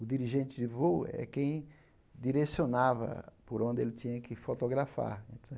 O dirigente de voo é quem direcionava por onde ele tinha que fotografar.